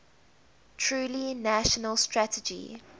truly national strategy